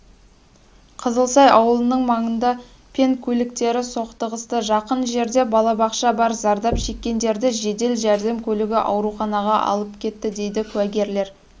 қызылсай ауылының маңында пен көліктері соқтығысты жақын жерде балабақша бар зардап шеккендерді жедел жәрдем көлігі ауруханаға алып кетті дейді куәгерлер